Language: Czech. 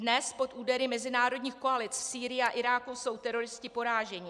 Dnes pod údery mezinárodních koalic v Sýrii a Iráku jsou teroristi poráženi.